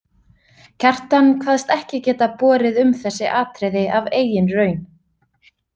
Kjartan kvaðst ekki geta borið um þessi atriði af eigin raun.